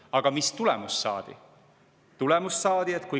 Aga mis tulemus saadi?